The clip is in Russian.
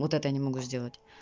вот это я не могу сделать